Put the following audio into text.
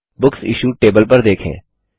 books issued table पर देखें